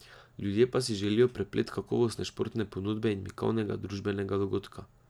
Ljudje pa si želijo preplet kakovostne športne ponudbe in mikavnega družabnega dogodka.